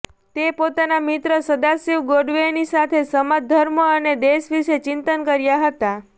તે પોતાના મિત્ર સદાશિવ ગોંડવેની સાથે સમાજ ધર્મ અને દેશ વિશે ચિંતન કર્યા હતા